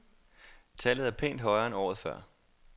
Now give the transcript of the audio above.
Tallet er pænt højere end året før.